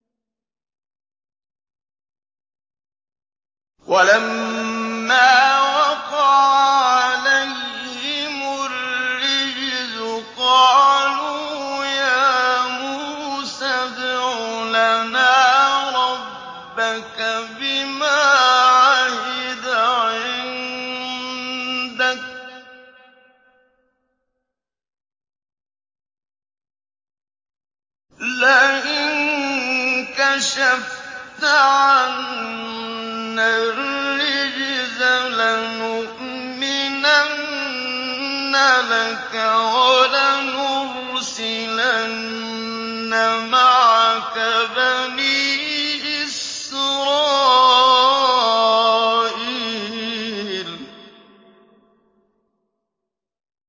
وَلَمَّا وَقَعَ عَلَيْهِمُ الرِّجْزُ قَالُوا يَا مُوسَى ادْعُ لَنَا رَبَّكَ بِمَا عَهِدَ عِندَكَ ۖ لَئِن كَشَفْتَ عَنَّا الرِّجْزَ لَنُؤْمِنَنَّ لَكَ وَلَنُرْسِلَنَّ مَعَكَ بَنِي إِسْرَائِيلَ